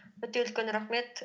өте үлкен рахмет